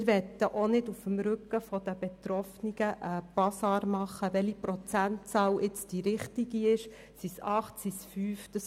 Wir möchten nicht auf dem Rücken der Betroffenen einen Basar abhalten, welcher Prozentsatz nun der richtige ist, seien es 8 oder 5 Prozent.